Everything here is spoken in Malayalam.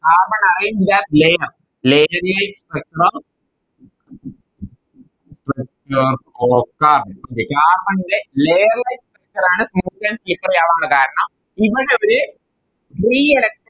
Carbon arrange that layer layer like structure okay Carbon ൻറെ Layer like structure ആണ് smooth and slippery ആവാനുള്ള കാരണം ഇവിടെ അവര്